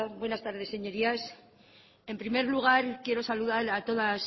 buenas tardes señorías en primer lugar quiero saludar a todas